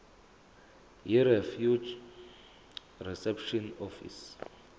yirefugee reception office